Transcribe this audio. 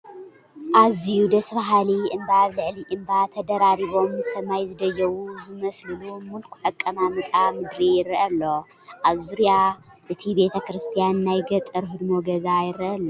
ኣዝዩ ደስ በሃሊ እምባ ኣብ ልዕሊ እምባ ተደራሪቦም ንሰማይ ዝደየቡ ዝመስሉሉ ምልኩዕ ኣቀማምጣ ምድሪ ይርአ ኣሎ፡፡ ኣብ ዙርያ እቲ ቤተ ክርስቲያን ናይ ገጠር ህድሞ ገዛ ይርአ ኣሎ፡፡